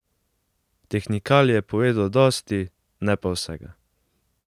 Tehnikalije povedo dosti, ne pa vsega.